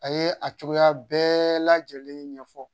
A ye a cogoya bɛɛ lajɛlen ɲɛfɔ